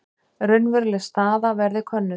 Raunveruleg staða verði könnuð